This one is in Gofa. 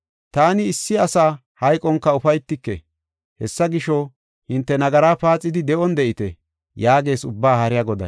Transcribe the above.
Taani issi asa hayqonka ufaytike. Hessa gisho, hinte nagaraa paaxidi, de7on de7ite” yaagees Ubbaa Haariya Goday.